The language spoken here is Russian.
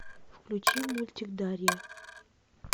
включи мультик дарья